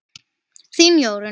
Þín Jórunn.